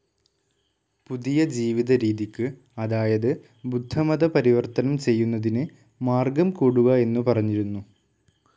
പുതിയ ജീവിതരീതിക്ക് അതായത് ബുദ്ധമത പരിവർത്തനം ചെയ്യുന്നതിനെ മാർഗ്ഗം കൂടുക എന്നു പറഞ്ഞിരുന്നു.